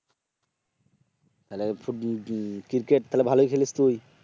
cricket তাহলে ভালোই খেলিস তুই